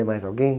Ia mais alguém?